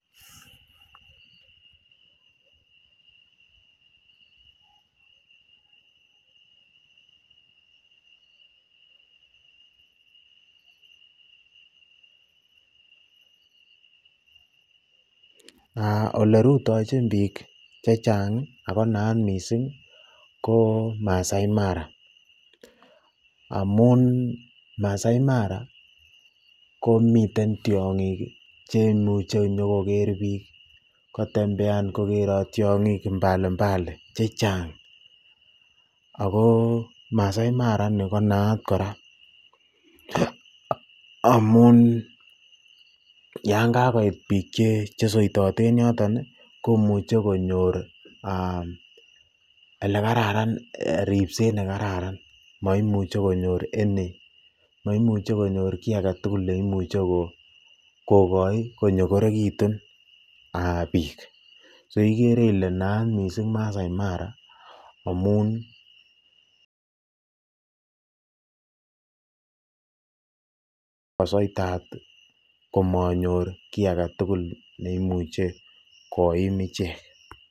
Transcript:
olerutochin biik chechang ak ko naat mising ko Maasai Mara amun Maasai Mara komiten tiong'ik chemuche nyokoker biik, kotembean kokerot tiong'ik mbali mbali chechang ak ko Maasai Mara nii ko nayat kora amn yoon kakoit biik chesoitote en yoton komuche konyor elekararan, ribset nekararan moimuche konyor any moimuche konyor kii aketukul neimuche kokoi konyokorekitu biik, so ikere ileee naat mising Maasai Mara amun kosoitat komonyor kii aketukul neimuche koim ichek.